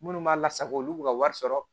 Minnu b'a lasago olu ka wari sɔrɔ